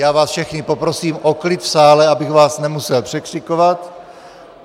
Já vás všechny poprosím o klid v sále, abych vás nemusel překřikovat.